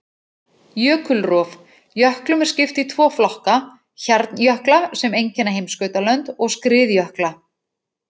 Jökulrof: Jöklum er skipt í tvo flokka, hjarnjökla sem einkenna heimskautalönd, og skriðjökla.